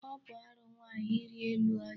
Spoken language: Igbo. Ọ bụ arụ nwaanyị iri elu ọjị.